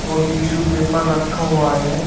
और tissue paper रखा हुआ है।